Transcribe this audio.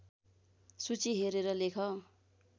सूची हेरेर लेख